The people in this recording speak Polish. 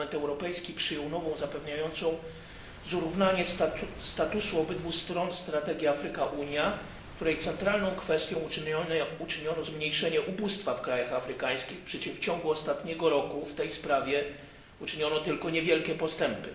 Parlament Europejski przyjął nową, zapewniającą zrównanie statusu obydwu stron strategię Afryka Unia, której centralną kwestią uczyniono zmniejszenie ubóstwa w krajach afrykańskich, przy czym w ciągu ostatniego roku w tej sprawie uczyniono tylko niewielkie postępy.